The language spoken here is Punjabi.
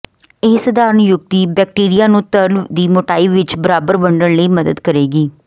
ਇਹ ਸਧਾਰਨ ਯੁਕਤੀ ਬੈਕਟੀਰੀਆ ਨੂੰ ਤਰਲ ਦੀ ਮੋਟਾਈ ਵਿੱਚ ਬਰਾਬਰ ਵੰਡਣ ਵਿੱਚ ਮਦਦ ਕਰੇਗੀ